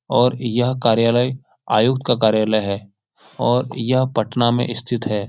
और यह कार्यालय आयुक्त का कार्यालय है और यह पटना में स्थित है।